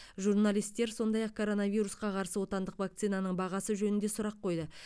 журналистер сондай ақ коронавирусқа қарсы отандық вакцинаның бағасы жөнінде сұрақ қойды